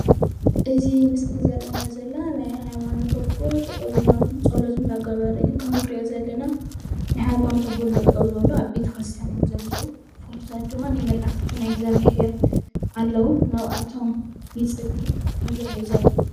እዚ ምስሊ ዘርእየና ዘሎ ናይ ሃይማኖት እቦ ጠጠው ኢሎም ፀሎት እንዳገበሩ እዩ። ከም ንሪኦ ዘለና ናይ ሃይማኖት እቦ እሎ ጠጠው ዝበሉ አብ ቤተክርስቲያን እዮም ዘለው። ፎቶታት ድማ ናይ መላእክት ናይ እግዚአብሔር ኣለው ናብአቶም ይፅሊ ከም ዘሎ እዩ ዘርኢ ።